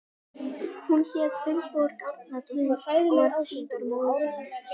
Hún hét Vilborg Árnadóttir og varð síðar móðir mín.